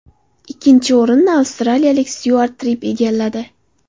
Ikkinchi o‘rinni avstraliyalik Styuart Tripp egalladi.